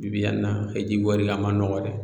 Bi-bi in na hiji wari a man nɔgɔn dɛ